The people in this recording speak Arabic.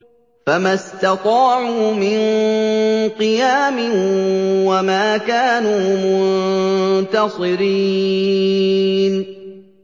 فَمَا اسْتَطَاعُوا مِن قِيَامٍ وَمَا كَانُوا مُنتَصِرِينَ